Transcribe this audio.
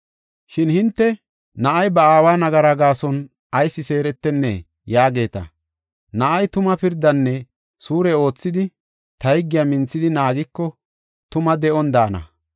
“Shin hinte, ‘Na7ay ba aawa nagara gaason ayis seeretennee?’ ” yaageeta. Na7ay tuma pirdanne suure oothidi, ta higgiya minthidi naagiko, tuma de7on daana.